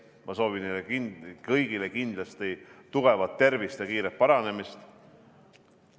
Ma soovin neile kõigile kindlasti tugevat tervist ja kiiret paranemist!